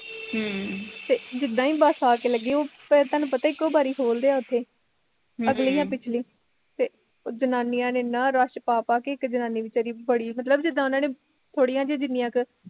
ਹਮ ਤੇ ਜਿਦਾਂ ਈ ਬਸ ਆ ਕੇ ਲੱਗੀ, ਤੇ ਤੈਨੂੰ ਪਤਾ ਇੱਕੋ ਈ ਬਾਰੀ ਖੋਲਦੇ ਉੱਥੇ ਹਮ ਅਗਲੀ ਜਾਂ ਪਿਛਲੀ ਤੇ ਜਨਾਨੀਆ ਨੇ ਏਨਾਂ ਰਸ਼ ਪਾ ਪਾ ਕੇ ਇੱਕ ਜਨਾਨੀ ਵੀਚਾਰੀ ਬੜੀ ਮਤਲਬ ਜਿਦਾਂ ਉਹਨੀ, ਥੋੜੀਆਂ ਜਹੀਆ ਜਿਨੀਆ ਕੁ